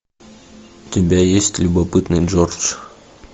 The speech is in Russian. у тебя есть любопытный джордж